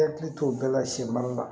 I hakili to bɛɛ la senbali la